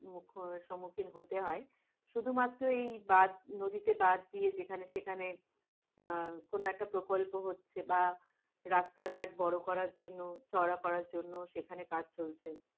মুখ সম্মুখীন হতে হয়, শুধুমাত্র এই বাদ নদীতে বাদ দিয়ে যেখানে সেখানে আহ কোন একটা প্রকল্প হচ্ছে বা রাস্তাঘাট বড়করার জন্য চওড়া করার জন্য সেখানে কাজ চলছে,